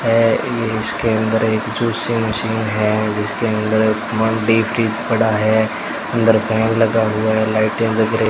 ईधर इसके अंदर एक जूसिंग मशीन है जिसके अंदर पड़ा है अंदर फैन लगा हुआ है लाइटें लग रही --